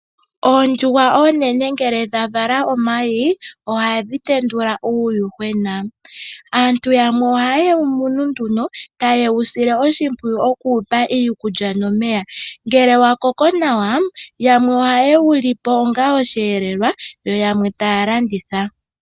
Oondjuhwa oonene ngele dha vala omayi ohadhi tendula uuyuhwena. Aantu yamwe ohaye wu munu nduno taye wu sile oshimpwiwu oku wupa iikulya nomeya. Ngele wa koko nawa yamwe ohaye wu lipo onga osheelelwa yo yamwe taya landitha.